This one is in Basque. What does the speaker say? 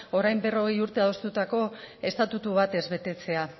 orain berrogei urte adostutako estatutu bat ez betetzea